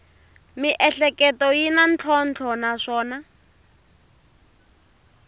miehleketo yi na ntlhontlho naswona